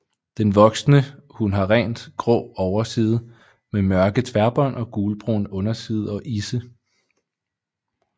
Den voksne hun har rent grå overside med mørke tværbånd og gulbrun underside og isse